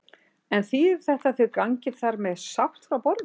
En þýðir þetta að þau gangi þar með sátt frá borði?